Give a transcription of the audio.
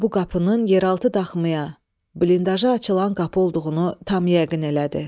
Bu qapının yeraltı daxmaya, blindaşası açılan qapı olduğunu tam yəqin elədi.